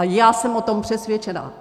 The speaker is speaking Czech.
A já jsem o tom přesvědčena.